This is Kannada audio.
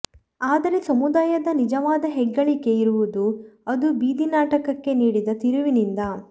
ಆದರೆ ಸಮುದಾಯದ ನಿಜವಾದ ಹೆಗ್ಗಳಿಕೆ ಇರುವುದು ಅದು ಬೀದಿನಾಟಕಕ್ಕೆ ನೀಡಿದ ತಿರುವಿನಿಂದ